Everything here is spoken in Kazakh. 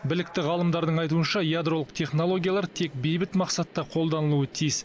білікті ғалымдардың айтуынша ядролық технологиялар тек бейбіт мақсатта қолданылуы тиіс